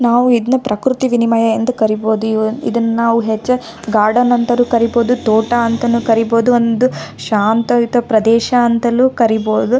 ನಾವು ಇದನ್ನ ಪ್ರಕ್ರತಿ ವಿನಿಮಯ ಎಂದು ಕರೀಬಹುದು ಇವು ಇದನ್ ನಾವು ಹೆಚ್ಚಾಗಿ ಗಾರ್ಡನ್ ಅಂತಾನೂ ಕರೀಬಹುದು ತೋಟ ಅಂತಾನೂ ಕರೀಬಹುದು ಒಂದು ಶಾಂತ ರೀತಿಯ ಪ್ರದೇಶ ಅಂತಲೂ ಕರೀಬಹುದು.